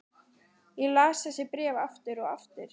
Ég las þessi bréf aftur og aftur.